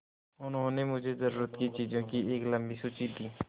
उन्होंने मुझे ज़रूरत की चीज़ों की एक लम्बी सूची दी